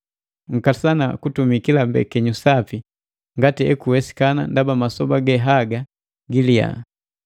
Nkasana kutumi kila mbekenyu sapi ngati ekuwesikana ndaba masoba ge haga giliya.